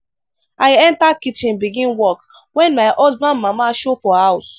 i enta kitchen begin cook wen my husband mama show for house.